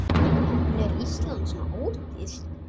En er Ísland svo ódýrt?